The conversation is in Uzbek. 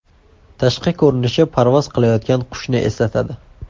Tashqi ko‘rinishi parvoz qilayotgan qushni eslatadi.